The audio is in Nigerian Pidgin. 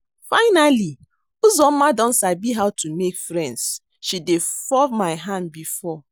Finally Uzoma don sabi how to make friends, she dey fall my hand before